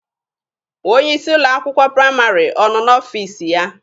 Onye isi ụlọ akwụkwọ praịmarị ọ nọ n'ọfiisi ya?